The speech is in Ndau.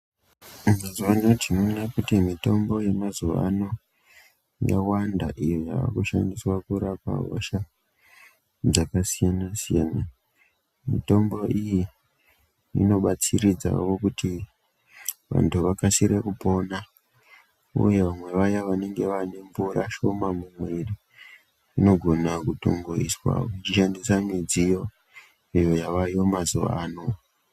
Mazuwa ano tinoona kuti mitombo yemazuwa ano yawanda iyo yaakushandiwsa kurapa hosha dzakasiyanasiyana mitombo iyi inobatsiridzawo kuti vanhu vakasire kupona uye vamwe vaya vanenge vaane mvura shoma mumwiri inogona kutoiswa uchishandisa midziyo iyo yavayo mazuwaano.